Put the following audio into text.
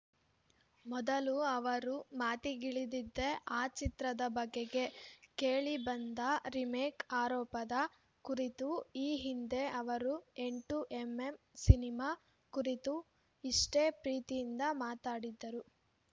ಮೊದಲು ಅವರು ಮಾತಿಗಿಳಿದಿದ್ದೇ ಆ ಚಿತ್ರದ ಬಗೆಗೆ ಕೇಳಿ ಬಂದ ರಿಮೇಕ್‌ ಆರೋಪದ ಕುರಿತು ಈ ಹಿಂದೆ ಅವರು ಎಂಟು ಎಂ ಎಂ ಸಿನಿಮಾ ಕುರಿತೂ ಇಷ್ಟೇ ಪ್ರೀತಿಯಿಂದ ಮಾತಾಡಿದ್ದರು